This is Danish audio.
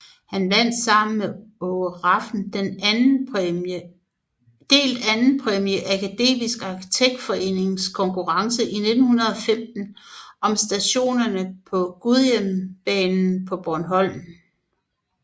Han vandt sammen med Aage Rafn delt andenpræmie i Akademisk Arkitektforenings konkurrence i 1915 om stationer til Gudhjembanen på Bornholm